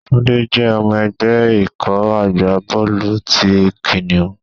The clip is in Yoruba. Túndé jẹ́ ọmọ ẹgbẹ́ ikọ̀ agbá bọ́ọ̀lù ti Kìnìún.